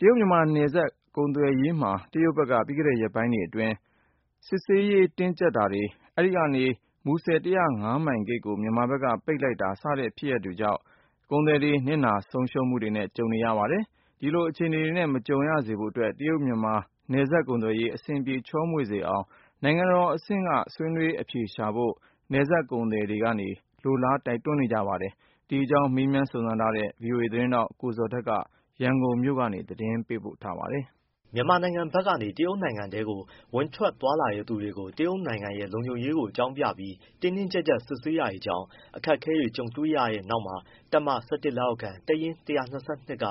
တရုတ်-မြန်မာ နယ်စပ်ကုန်သွယ်ရေးမှာ တရုတ်ဘက်က ပြီးခဲ့တဲ့ရက်ပိုင်းတွေအတွင်း စစ်ဆေးရေးတင်းကျပ် တာ၊ အဲဒီကနေ မူဆယ် ၁၀၅ မိုင်ဂိတ်ကို မြန်မာဘက်က ပိတ်လိုက်တာ စတဲ့ဖြစ်ရပ်တွေကြောင့် နစ်နာ ဆုံးရှုံးမှုတွေနဲ့ ကြုံကြရပါတယ်။ ဒီလို အခြေအနေတွေနဲ့ မကြုံရစေဖို့အတွက် တရုတ်-မြန်မာ နယ်စပ်ကုန်သွယ် ရေး အဆင်ပြေချောမွေ့စေအောင် နိုင်ငံတော်အဆင့်က ဆွေးနွေးအဖြေရှာဖို့ နယ်စပ်ဒေသ ကုန်သည်တွေက လိုလားကြပါတယ်။ ဒီအကြောင်း ဗွီအိုအေသတင်းထောက် ကိုဇော်ထက်က ရန်ကုန်မြို့ကနေ သတင်းပေးပို့ ထားပါတယ်။ မြန်မာနိုင်ငံဘက်ကနေ တရုတ်နိုင်ငံထဲ ဝင်ထွက်သွားလာသူတွေကို တရုတ်နိုင်ငံရဲ့ လုံခြုံရေးကိုအကြောင်းပြပြီး တင်းတင်း ကျပ်ကျပ် စစ်ဆေးတာကြောင့် အခက်အခဲတွေ ကြုံခဲ့ကြရပြီးတဲ့နောက် တပ်မ ၁၁ လက်အောက်ခံ တပ်ရင်း ၁၂၂ က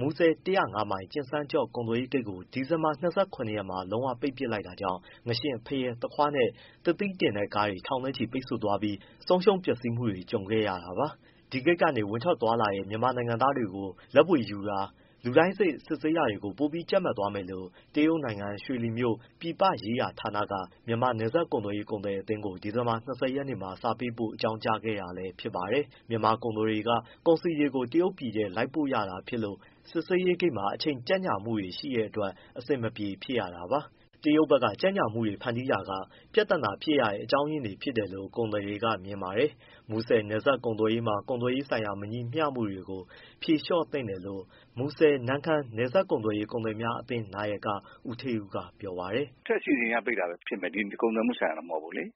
မူဆယ် ၁၀၅ မိုင်၊ ကျင်စန်းကျော့ကုန်သွယ်ရေးဂိတ်ကို ဒီဇင်ဘာ ၂၇ ရက်နေ့မှာ လုံးဝပိတ်ပစ် လိုက်တာကြောင့် ငါးရှဉ့်၊ ဖရဲ၊ သခွားနဲ့ သစ်သီးတင်ကားတွေ ထောင်နဲ့ချီပိတ်ဆို့သွားပြီး ဆုံးရှုံးပျက်စီးမှုတွေ ကြုံခဲ့ကြရတာပါ။ ဒီဂိတ်ကနေ ဝင်ထွက်သွားလာတဲ့ မြန်မာနိုင်ငံသားတွေကို လက်ဗွေယူတာ၊ လူတိုင်းစေ့စစ်ဆေးတာတွေကို ပိုပြီး ကြပ်မတ် သွားမယ်လို့ တရုတ်နိုင်ငံ၊ ရွှေလီမြို့ ပြည်ပရေးရာဌာနက မြန်မာ နယ်စပ်ကုန်သွယ်ရေး ကုန်သည် အသင်းကို ဒီလ ၂၀ ရက်နေ့မှာ စာပေးပို့ အကြောင်းကြားခဲ့တာလည်းဖြစ်ပါတယ်။ မြန်မာကုန်သည်တွေက ကုန်စည်တွေကို တရုတ်ပြည်ထဲထိ လိုက်ပို့ရတာဖြစ်လို့ စစ်ဆေးရေးဂိတ်မှာ အချိန် ကြန့်ကြာမှုတွေရှိတဲ့ အတွက် အဆင်မပြေ ဖြစ်ကြရပါတယ်။ တရုတ်ဘက်က ကြန့်ကြာမှုတွေဖန်တီးတာက ပြဿနာဖြစ်ရတဲ့ အကြောင်းအရင်းတွေဖြစ်တယ်လို့ ကုန်သည် တွေက မြင်ပါတယ်။ မူဆယ်နယ်စပ်ကုန်သွယ်ရေးမှာ ကုန်သွယ်ရေးဆိုင်ရာမညီမျှမှုတွေကို ဖြေလျှော့သင့် တယ်လို့ မူဆယ်-နမ့်ခမ်းနယ်စပ် ကုန်သွယ်ရေး ကုန်သည်များအသင်းနာယက ဦးဌေးဦးကပြောပါတယ်။ “အထက်အစီအစဉ်အရပိတ်တာပဲဖြစ်မယ်။ ကုန်သွယ်မှုဆိုင်ရာတော့မဟုတ်ဘူးလေ။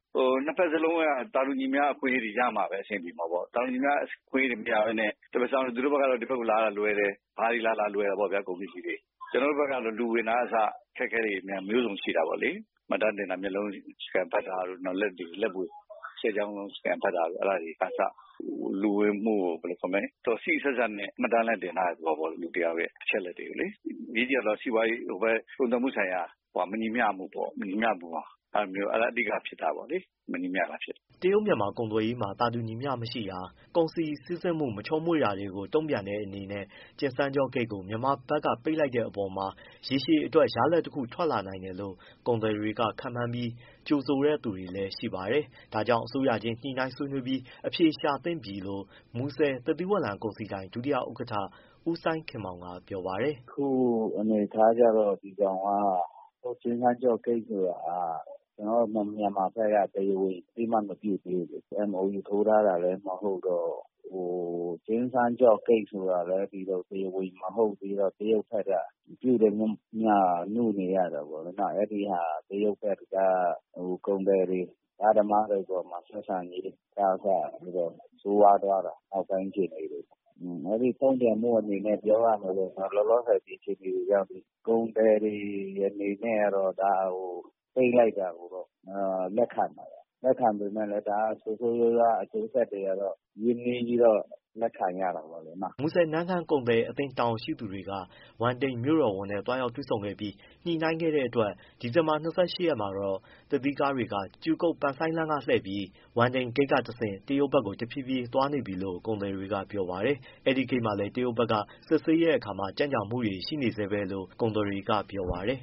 နှစ်ဘက်စလုံးက သာတူ ညီမျှ အခွင့်အရေးတွေရမှပဲ အဆင်ပြေမှာပေါ့။ သာတူညီမျှ အခွင့်အရေးတွေမရဘဲနဲ့ တဘက်စောင်းနင်း သူတို့ကဒီဘက်ကိုလာရတာလွယ်တယ်၊ ဘာတွေလာလာ လွယ်တယ်ပေါ့ဗျာ ကုန်ပစ္စည်းတွေ ကျွန်တော်တို့ ဘက်ကျ လူဝင်တာကအစ အခက်အခဲတွေမျိုးစုံရှိတာပေါ့လေ။ မှတ်တမ်းတင်တာ၊ မျက်လုံး scan ဖတ်တာတို့ လက်ဆယ်ချောင်းလုံး scan ဖတ်တာတို့ အဲဒါတွေကအစ လူဝင်မှုကို ဘယ်လိုခေါ်မလဲ စေ့စေ့စပ်စပ်နဲ့ မှတ်တမ်းလည်းတင် ထားတဲ့သဘောပေါ့။ လူတစ်ယောက်ရဲ့ အချက်အလက်တွေကိုလေ။ အရေးကြီး တာကတော့ စီးပွားရေး ဟိုဘက် ကုန်သွယ်မှုဆိုင်ရာ မညီမျှမှုပေါ့။ မညီမျှမှုမှာ အဲဒါမျိုး အဓိက ဖြစ်တာပေါ့လေ။ မညီမမျှတာဖြစ်တာ။” တရုတ်-မြန်မာ ကုန်သွယ်ရေးမှာ သာတူညီမျှ မရှိတာ၊ ကုန်စည်စီးဆင်းမှုမချောမွေ့တာတွေကို တုံ့ပြန်တဲ့အနေနဲ့ ကျင်စန်းကျော့ဂိတ်ကို မြန်မာဘက်ကပိတ်လိုက်တဲ့အပေါ်မှာ ရေရှည်အတွက်ရလာဒ်တခု ထွက်လာနိုင်တယ်လို့ ကုန်သည်တွေကခန့်မှန်းပြီး ကြိုဆိုတဲ့သူတွေလည်း ရှိပါတယ်။ ဒါကြောင့် အစိုးရချင်းညှိနှိုင်းဆွေးနွေး အဖြေရှာ သင့်ပြီလို့ မူဆယ် သစ်သီးဝလံကုန်စည်ဒိုင် ဒုတိယဥက္ကဋ္ဌ ဦးစိုင်းခင်မောင်က ပြောပါတယ်။ “အခုအနေအထားကျတော့ ကျင်စန်းကျော့ဂိတ်ဆိုတာဟာ ကျနော်တို့မြန်မာဘက်က တရားဝင်အသိအမှတ် မပြုသေးဘူးလေ။ MOU ထိုးထားတာလည်းမဟုတ်တော့ ကျင်စန်းကျော့ဂိတ်ဆိုတာ လည်း တရားဝင်ဂိတ်မဟုတ်သေးတော့ တရုတ်ဘက်ကပြုသမျှ နုနေရတာပေါ့။ အဲဒီဟာက တရုတ်ဘက်က ကုန်သည်တွေ အဓမ္မလုပ်တော့ ဆက်ဆံရေးကအစ ဆိုးရွားသွားတာ အောက်ပိုင်းအခြေအနေတွေမှာ။ အဲဒီတုံ့ပြန်မှုအနေနဲ့ပြောရမယ်ဆိုရင်လောလောဆယ် ဒီအခြေအနေကိုရောက်နေပြီ၊ ကုန်သည်တွေအနေနဲ့ ကတော့ ဒါကိုပိတ်လိုက်တာကိုတော့ လက်ခံပါတယ်။ လက်ခံပေမဲ့လည်း ဒါကဆိုးဆိုးရွားရွား အကျိုးဆက်တွေ ကတော့ ရင်းနှီးပြီး လက်ခံရတာပေါ့လေနော့။” မူဆယ်-နမ့်ခမ်းကုန်သည်အသင်းတာဝန်ရှိသူတွေက ဝမ်တိန်မြို့တော်ဝန်နဲ့သွားရောက်တွေ့ဆုံခဲ့ပြီး ညှိနှိုင်းခဲ့တဲ့ အတွက် ဒီဇင်ဘာလ ၂၈ ရက်နေ့မှာတော့ သစ်သီးကားတွေ ကြူကုတ်-ပန်ဆိုင်းလမ်းကလှည့်ပြီး ဝမ်တိန်ဂိတ် ကတဆင့် တရုတ်ဘက်ကို တဖြည်းဖြည်းသွားနေပြီလို့ ကုန်သည်တချို့ကပြောပါတယ်။ အဲဒီဂိတ်မှာလည်း တရုတ်ဘက်က စစ်ဆေးတာမှာ ကြန့်ကြာမှုတွေ ရှိနေဆဲပဲလို့ ကုန်သည်တွေကပြောပါတယ်။